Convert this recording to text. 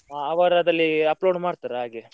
ಹಾ ಅವರು ಅದರಲ್ಲಿ upload ಮಾಡ್ತಾರೆ ಹಾಗೆ.